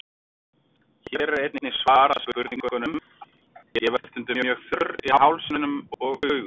Hér er einnig svarað spurningunum: Ég verð stundum mjög þurr í hálsinum og augum.